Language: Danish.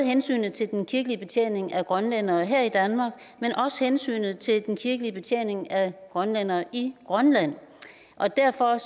hensynet til den kirkelige betjening af grønlændere her i danmark men også hensynet til den kirkelige betjening af grønlændere i grønland derfor